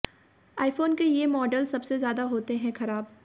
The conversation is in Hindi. आइफोन के ये मॉडल्स सबसे ज्यादा होते हैं खराब